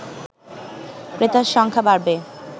ক্রেতার সংখ্যা বাড়বে